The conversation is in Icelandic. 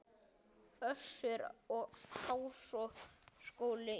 Össur og Háskóli Ísland.